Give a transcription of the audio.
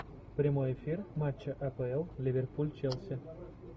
прямой эфир матча апл ливерпуль челси